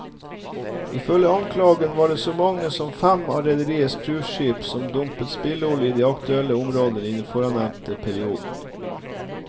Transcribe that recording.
Ifølge anklagen var det så mange som fem av rederiets cruiseskip som dumpet spillolje i de aktuelle områdene i den forannevnte perioden.